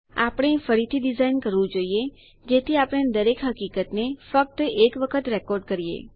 આપણે ફરીથી ડીઝાઇન કરવું જોઈએ જેથી આપણે દરેક હકીકતને ફક્ત એક વખત રેકોર્ડ કરીએ